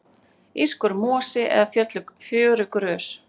írskur mosi eða fjörugrös